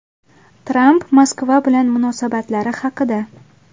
Tramp Moskva bilan munosabatlari haqida.